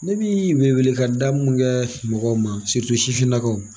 Ne bi weele weele ka mun kɛ mɔgɔw ma sifinnakaw